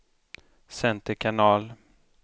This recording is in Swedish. center kanal